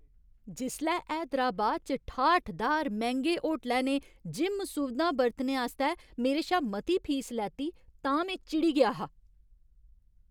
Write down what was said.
जिसलै हैदराबाद च ठाठदार मैंह्‌गे होटलै ने जिम सुविधां बरतने आस्तै मेरे शा मती फीस लैती तां में चिड़ी गेआ हा।